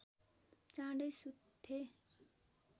चाँडै सुत्थे